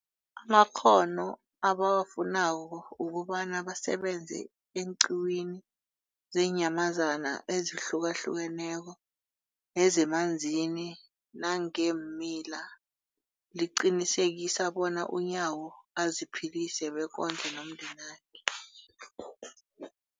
amakghono ebawafunako ukobana basebenze eenqiwini zeenyamazana ezihlukahlukeneko nezemanzini nangeemila, liqinisekisa bona uNyawo aziphilise bekondle nomndenakhe.